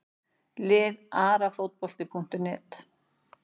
Lið Arafotbolti.net